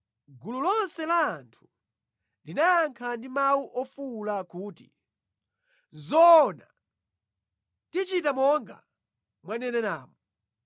Gulu lonse la anthu linayankha ndi mawu ofuwula kuti, “Nʼzoona! Tichita monga mwaneneramu.